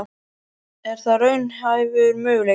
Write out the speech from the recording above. Er það raunhæfur möguleiki?